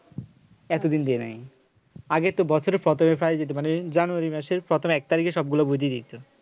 এতদিন দেই নাই আগে তো বছরে প্রথমেই প্রায় দিত মানে january মাসের প্রথম এক তারিখে সবগুলা বই দিয়ে দিত